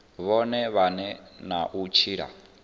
vhone vhane na u tshila